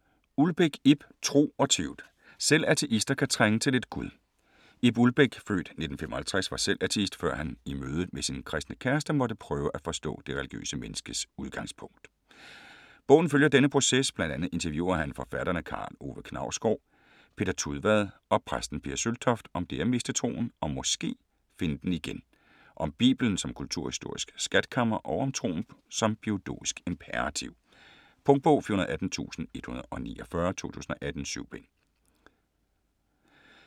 Ulbæk, Ib: Tro og tvivl: selv ateister kan trænge til lidt gud Ib Ulbæk (f. 1955) var selv ateist, før han i mødet med sin kristne kæreste, måtte prøve at forstå det religiøse menneskes udgangspunkt. Bogen følger denne proces, bl.a. interviewer han forfatterne Karl Ove Knausgård, Peter Tudvad og præsten Pia Søltoft, om det at miste troen og (måske) finde den igen, om bibelen som kulturhistorisk skatkammer og om troen som biologisk imperativ. Punktbog 418149 2018. 7 bind.